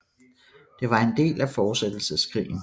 Det var en del af Fortsættelseskrigen